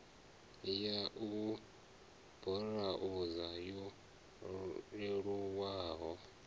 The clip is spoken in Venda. ya u burauza yo leluwaho